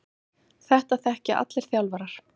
Þetta þekkja allir þjálfarar.